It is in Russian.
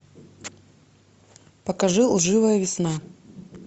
покажи лживая весна